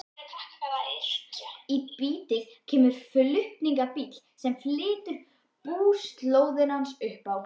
Í bítið kemur flutningabíll sem flytur búslóðina hans upp á